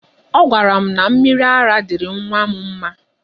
Ọ gwara m na mmiri ara dịịrị nwa m mma.